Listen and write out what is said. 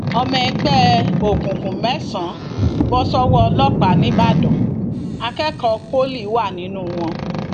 ọmọ ẹgbẹ òkùnkùn mẹsànán bọ sọwọ ọlọpàá nìbàdàn akẹkọọ pọlì wà nínú wọn